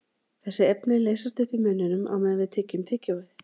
Þessi efni leysast upp í munninum á meðan við tyggjum tyggjóið.